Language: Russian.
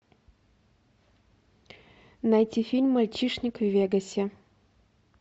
найти фильм мальчишник в вегасе